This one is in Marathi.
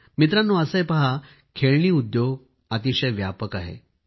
मित्रांनो असं आहे पहा खेळणी उद्योग अतिशय व्यापक आहे